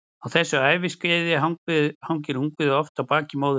Á þessu æviskeiði hangir ungviðið oft á baki móður sinnar.